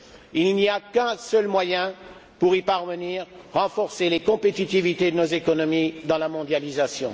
Il n'y a qu'un seul moyen pour y parvenir renforcer les compétitivités de nos économies dans la mondialisation.